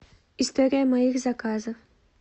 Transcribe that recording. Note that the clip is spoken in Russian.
история моих заказов